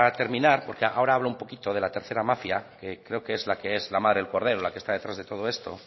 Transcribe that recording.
terminar porque ahora hablo un poquito de la tercera mafia que creo que es la que es la madre del cordero la que está detrás de todo esto